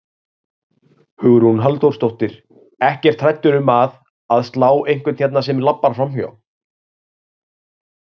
Hugrún Halldórsdóttir: Ekkert hræddur um að, að slá einhvern hérna sem labbar framhjá?